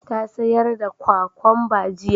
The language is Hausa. Ta sayar da kwakamba jiya